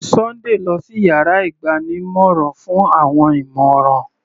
Sunday lọ sí yàrá ìgbanímọ̀ràn fún àwọn ìmọ̀ràn.